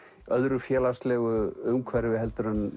öðru félagslegu umhverfi en